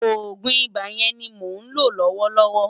Ògún Ibá yèn ni mó nló lòwòlòwò